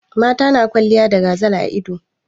Mata na kwalliya da gazal a ido.